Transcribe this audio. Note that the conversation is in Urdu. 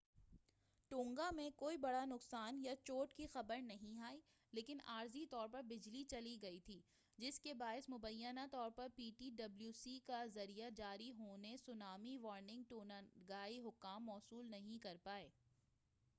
ٹونگا میں کوئی بڑا نقصان یا چوٹ کی خبر نہیں آئی لیکن عارضی طور پر بجلی چلی گئی تھی جس کے باعث مبینہ طور پر پی ٹی ڈبلو سی کے ذریعہ جاری ہونے سونامی وارننگ ٹونگائی حکام موصول نہیں کر پائے